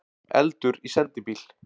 Eldur í sendibíl